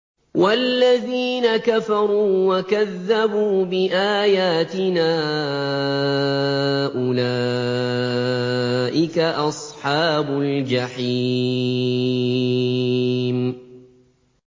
وَالَّذِينَ كَفَرُوا وَكَذَّبُوا بِآيَاتِنَا أُولَٰئِكَ أَصْحَابُ الْجَحِيمِ